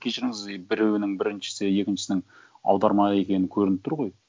кешіріңіз и біреуінің біріншісі екіншісінің аударма екені көрініп тұр ғой